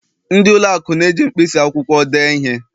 ndị ụlọ akụ na-eji mkpịsị akwụkwọ dee ihe